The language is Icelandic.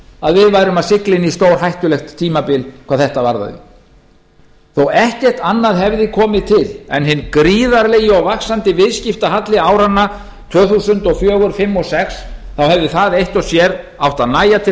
að við værum að sigla inn í stórhættulegt tímabil hvað þetta varðaði þó ekkert annað hefði komið til en hinn gríðarlegi og vaxandi viðskiptahalli áranna tvö þúsund og fjögur tvö þúsund og fimm og tvö þúsund og sex þá hefði það eitt og sér átt að nægja til